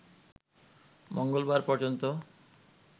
মঙ্গলবার পর্যন্ত